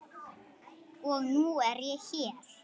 Og nú er ég hér!